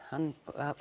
hann